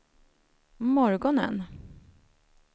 morgonen